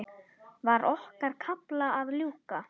Var okkar kafla að ljúka?